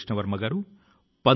Vande Mataram